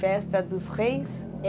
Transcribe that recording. Festa dos Reis?